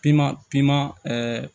Piman piman ɛɛ